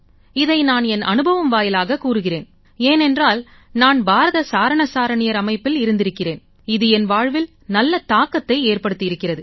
இதை நான் என் அனுபவம் வாயிலாகக் கூறுகிறேன் ஏனென்றால் நான் பாரத சாரண சாரணியர் அமைப்பில் இருந்திருக்கிறேன் இது என் வாழ்வில் நல்ல தாக்கத்தை ஏற்படுத்தி இருக்கிறது